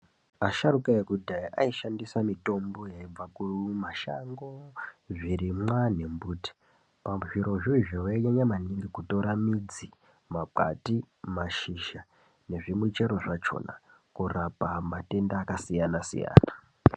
Vasharukwa vekudhaya vaishandisa mitombo yaibva kumashango, zvirimwa mumbuti .Pazvirozvo izvozvo vainyanya kutore midzi ,makwande ,mashizha nezvimichero zvakona kurapa matenda akasiyana siyana.